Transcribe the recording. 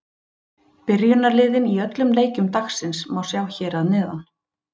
Byrjunarliðin í öllum leikjum dagsins má sjá hér að neðan.